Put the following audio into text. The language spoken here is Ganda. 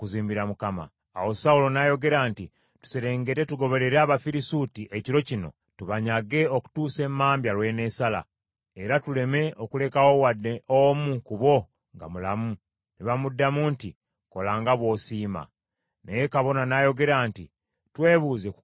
Awo Sawulo n’ayogera nti, “Tuserengete tugoberere Abafirisuuti ekiro kino tubanyage okutuusa emmambya lw’eneesala, era tuleme okulekawo wadde omu ku bo nga mulamu.” Ne bamuddamu nti, “Kola nga bw’osiima.” Naye kabona n’ayogera nti, “Twebuuze ku Katonda wano.”